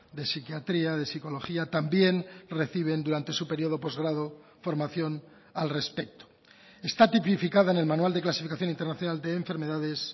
de psiquiatría de psicología también reciben durante su periodo postgrado formación al respecto está tipificada en el manual de clasificación internacional de enfermedades